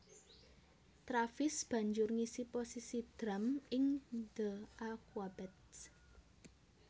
Travis banjur ngisi posisi drum ing The Aquabats